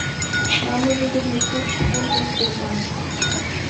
самый выгодный курс фунтов в сбербанке